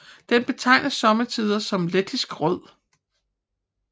Den betegnes sommetider som lettisk rød